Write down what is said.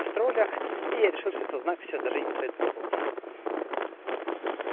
троллях веришь это знак все даже не стоит работать